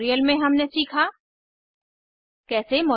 इस मिशन पर अधिक जानकारी निम्न लिंक पर उपलब्ध है